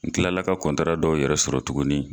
N kila la ka dɔw yɛrɛ sɔrɔ tuguni.